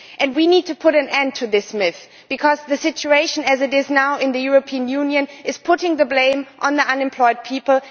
We need to put an end to the myth, because the situation as it is now in the European Union is placing the blame on the unemployed people.